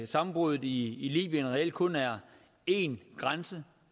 sammenbruddet i libyen reelt kun er én grænse